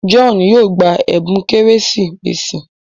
John yóò gbà ẹbùn Kérésìmesì.